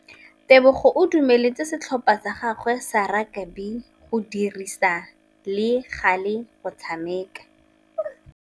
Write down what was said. Tebogô o dumeletse setlhopha sa gagwe sa rakabi go dirisa le galê go tshameka.